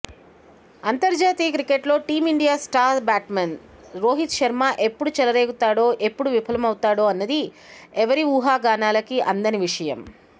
అంతర్జాతీయ క్రికెట్లో Team India star batsman Rohit Sharma ఎప్పుడు చెలరేగుతాడో ఎప్పుడు విఫలమవుతాడోఅన్నది ఎవ్వరి ఉహాగానాలకి అందని విషయం